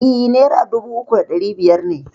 E, naira dubu uku da ɗari biyar ne.